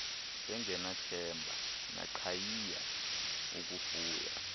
bengenathemba naqhayiya ukufuya